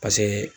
Paseke